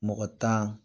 Mɔgɔ tan